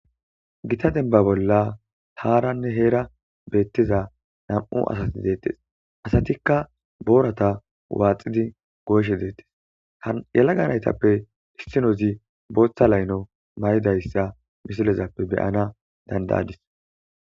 Gita denba bolla taaranne heera beettiza nam'u asasi deettes asatikka boorata waaxidi gooshe deettes hayalaga naytappe istinozi booththa layno may'idayssa misilezappe beyana dandayadis.